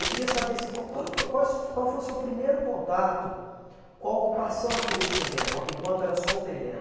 Eu queria saber se qual quando fo quais fo qual foi o seu primeiro contato qual a ocupação aqui desse terreno, ã enquanto era só um terreno.